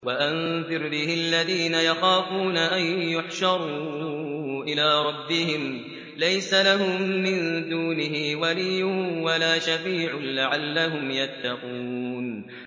وَأَنذِرْ بِهِ الَّذِينَ يَخَافُونَ أَن يُحْشَرُوا إِلَىٰ رَبِّهِمْ ۙ لَيْسَ لَهُم مِّن دُونِهِ وَلِيٌّ وَلَا شَفِيعٌ لَّعَلَّهُمْ يَتَّقُونَ